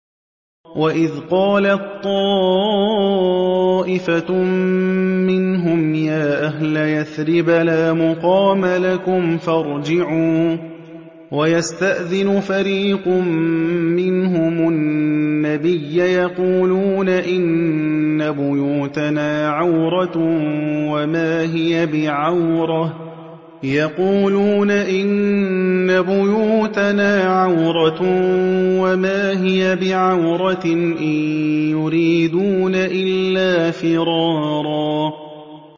وَإِذْ قَالَت طَّائِفَةٌ مِّنْهُمْ يَا أَهْلَ يَثْرِبَ لَا مُقَامَ لَكُمْ فَارْجِعُوا ۚ وَيَسْتَأْذِنُ فَرِيقٌ مِّنْهُمُ النَّبِيَّ يَقُولُونَ إِنَّ بُيُوتَنَا عَوْرَةٌ وَمَا هِيَ بِعَوْرَةٍ ۖ إِن يُرِيدُونَ إِلَّا فِرَارًا